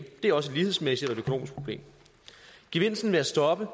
det er også et lighedsmæssigt og økonomisk problem gevinsten ved at stoppe